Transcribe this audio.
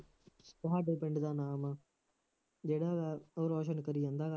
ਤੁਹਾਡੇ ਪਿੰਡ ਦਾ ਨਾਮ ਜਿਹੜਾ